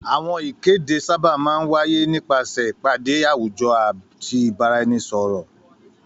Àwọn ìkéde sábà máa ń wáyé nípasẹ̀ ìpàdé àwùjọ àti ìbáraẹnisọ̀rọ̀ ọ̀rọ̀.